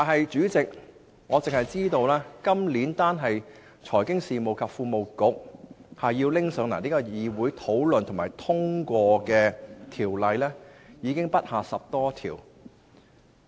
主席，我只知道在這個立法年度，單是由財經事務及庫務局提交議會討論和通過的法案已不下10多項。